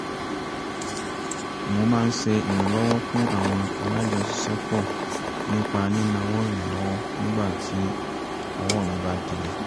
mo máa ń ṣe ìrànlọ́wọ́ fún àwọn alájọṣiṣẹ́pọ̀ nípa ní náwó ìrànlọ́wọ́ nígbà tí ọwọ́ mi bá dilẹ̀